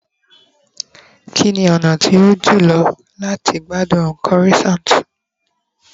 kini ona ti o to jùlọ lati gbádùn croissant